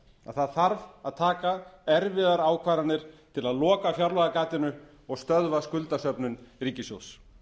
það þarf að taka erfiðar ákvarðanir til að loka fjárlagagatinu og stöðva skuldasöfnun ríkissjóðs